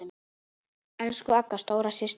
Elsku Agga, stóra systir mín.